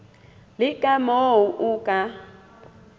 le ka moo o ka